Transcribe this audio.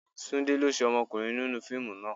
Túndé lo ṣé ọmọkùnrin nínú fíìmù náà.